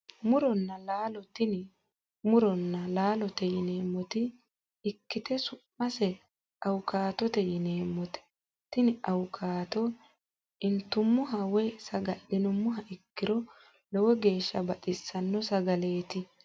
Muronna laalo tini muronna laalote yineemmota ikkite su'mase awukaatote yineemmote tini awukaate intummoha woyi saga'linummoha ikkiro lowo geeshsha baxissanno sagaleeti